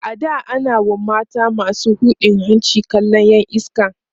a da a na WA mata masu hujin hanci kallan Yan iska